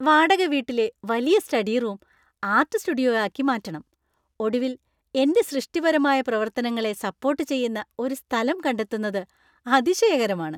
വാടകവീട്ടിലെ വലിയ study room art സ്റ്റുഡിയോയാക്കി മാറ്റണം. ഒടുവിൽ എന്‍റെ സൃഷ്ടിപരമായ പ്രവർത്തനങ്ങളെ സപ്പോര്‍ട്ട് ചെയ്യുന്ന ഒരു സ്ഥലം കണ്ടെത്തുന്നത് അതിശയകരമാണ്.